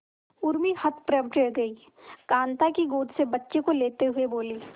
उर्मी हतप्रभ रह गई कांता की गोद से बच्चे को लेते हुए बोली